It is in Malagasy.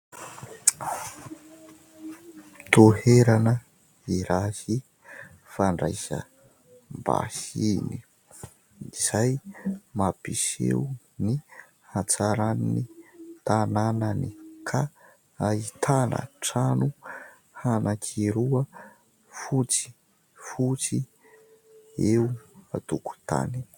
Toerana iray fandraisam-bahiny izay mampiseho ny hatsaran'ny tanànany ka ahitana trano anankiroa fotsifotsy eo an-tokotany.